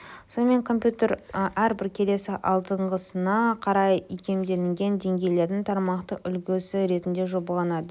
сонымен компьютер әрбір келесі алдыңғысына қарай икемделетін деңгейлердің тармақтық үлгісі ретінде жобаланады